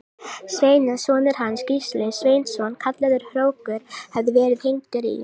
Sveini að sonur hans, Gísli Sveinsson kallaður hrókur, hefði verið hengdur í